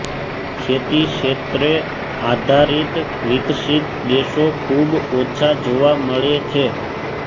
ખેતીક્ષેત્ર આધારિત વિકસિત દેશો ખૂબ ઓછા જોવા મળે છે